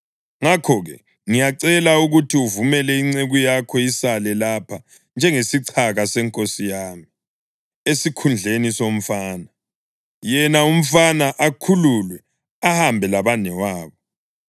Ngakho-ke ngiyacela ukuthi uvumele inceku yakho isale lapha njengesichaka senkosi yami esikhundleni somfana, yena umfana akhululwe ahambe labanewabo.